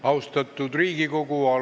Austatud Riigikogu!